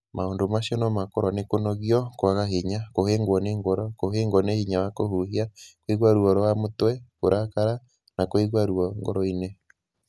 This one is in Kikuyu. Maũndũ macio no makorũo nĩ kũnogio, kwaga hinya, kũhĩngwo nĩ ngoro, kũhĩngwo nĩ hinya wa kũhuhia, kũigua ruo rwa mũtwe, kũrakara, na kũigua ruo ngoro-inĩ.